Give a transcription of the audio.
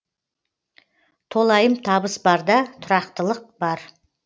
толайым табыс барда тұрақтылық бар